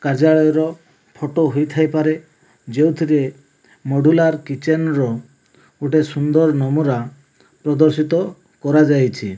କାର୍ଯ୍ୟାଳୟର ଫଟୋ ହୋଇଥାଇ ପାରେ ଯେଉଁଥିରେ ମୋଡୁଲାର କିଚେନ୍ ର ଗୋଟାଏ ସୁନ୍ଦର ନମୁରା ପ୍ରଦର୍ଶିତ କରାଯାଇଚି।